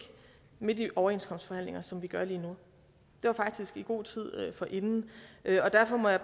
midt i overenskomstforhandlinger som vi gør lige nu det var faktisk i god tid inden og derfor må jeg